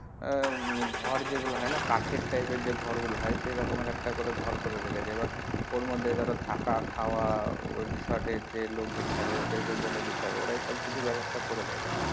আহ ঘর যেগুলো হয় না কাঠের type এর যে ঘর গুলো হয় সেরকম এক একটা করে ঘর করে রেখেছে এবার থাকা খাওয়া ওই resort এর যে লোকজন থাকবে ওদের বলে দিতে হবে ওরাই সব কিছু বেবস্থা করে দেয়,